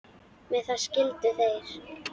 Með það skildu þeir.